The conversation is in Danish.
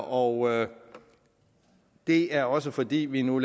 og det er også fordi vi nu